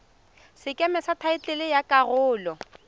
sekeme sa thaetlele ya karolo